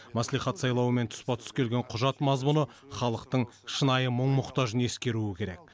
мәслихат сайлауымен тұспа тұс келген құжат мазмұны халықтың шынайы мұң мұқтажын ескеруі керек